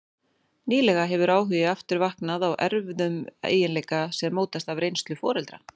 Nýlega hefur áhugi aftur vaknað á erfðum eiginleika sem mótast af reynslu foreldra.